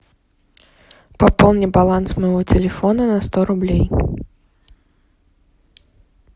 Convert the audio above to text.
пополни баланс моего телефона на сто рублей